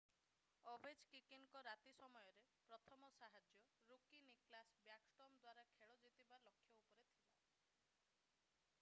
ଓଭେଚକିକିନ୍ ଙ୍କର ରାତି ସମୟରେ ପ୍ରଥମ ସାହାଯ୍ୟ ଋକି ନିକ୍ଲାସ୍ ବ୍ୟାକଷ୍ଟ୍ରୋମ୍ ଦ୍ଵାରା ଖେଳ ଜିତିବା ଲକ୍ଷ୍ୟ ଉପରେ ଥିଲା